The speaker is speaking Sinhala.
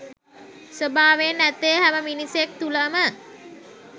ස්වභාවයෙන් ඇත්තේ හැම මිනිසෙක් තුලම